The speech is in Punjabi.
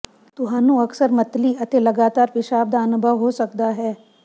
ਤੁਹਾਨੂੰ ਅਕਸਰ ਮਤਲੀ ਅਤੇ ਲਗਾਤਾਰ ਪਿਸ਼ਾਬ ਦਾ ਅਨੁਭਵ ਹੋ ਸਕਦਾ ਹੈ